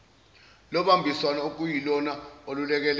lobambiswano okuyilona olulekelela